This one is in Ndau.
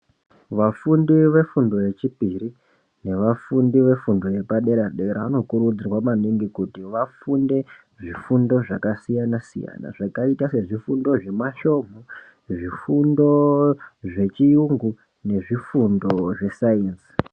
Vafundi vefundo yechipiri nevafundi vefundo yepadera dera vanokurudzirwa maningi kuti vafunde zvifundo zvakasiyana siyana zvakaita sezvufundo zvemasvomhu sezvifundo zvechiyungu zvifundo nezvesainzi .